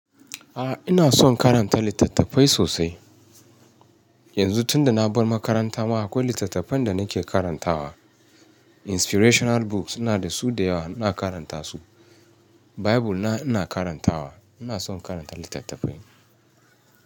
A, ina son karanta littattafai sosai. Yanzu tunda na bar makaranta ma akwai littattafan da nake karantawa. Inspirational books ina da su da yawa ina karanta su. Bible na ina karantawa. Ina son karanta littattafai.